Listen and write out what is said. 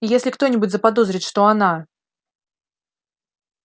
и если кто-нибудь заподозрит что она